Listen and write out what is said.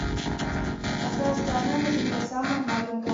какая страна на земле самая маленькая